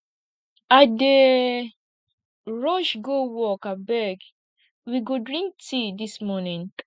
i dey rush go work abeg we go drink tea dis morning